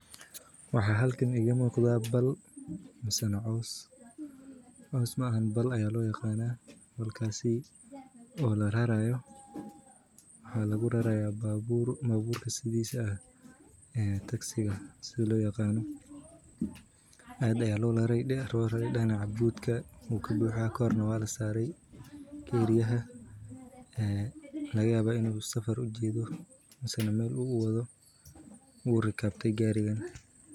Waxa halkan iga muqda bal masana cows, cows ma ahan bal aya loo yaqana, balkaasi oo la rarayo, waxa lugu raraya baabuur, babuur sidiisa ah ee tagsiga si loo yaqano, aad aya loo rare, dinac butka wuu kabuuxa korna waa la saarey keriyaha ee laga yaba inu safar uu ujedo mise Mel uu uwado u rikabte garigan